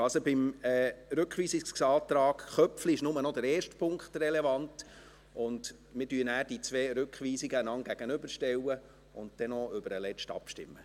Also: Beim Rückweisungsantrag Köpfli ist nur noch der erste Punkt relevant, und wir stellen nachher die beiden Rückweisungen einander gegenüber und stimmen dann noch über den letzten Antrag ab.